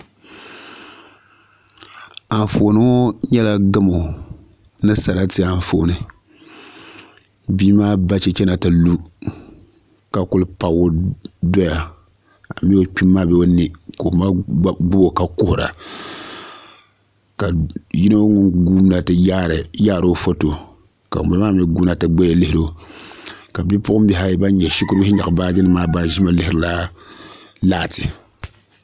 Anfooni ŋo nyɛla gamo ni sarati Anfooni bia maa ba chɛchɛ na ti lu ka ku pabgi doya amii o kpimi maa bee o nɛ ka oma gbubo ka kuhura ka yino guurina ti yaari o foto ka ŋunbala maa mii guuna ti lihiro ka bipuɣunbihi ayi ban nyɛ shikuru bihi nyaɣa baaji nim maa ban ʒimi lihirila laati